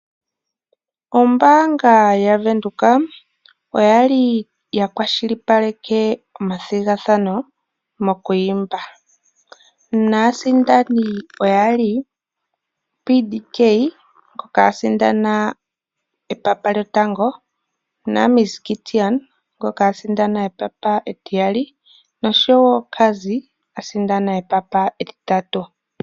Ombaanga yaWindhoek oya li ya kwashilipaleke omathigathano mokwiimba naasindani oya li PDK ngoka asindana epapa lyotango, miss Gideon ngoka asindana epapa etiyali noshowo Cazzy ngono asindana epapa etitatu.